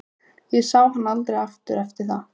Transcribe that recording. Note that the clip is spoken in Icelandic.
Ég sá hann aldrei eftir það.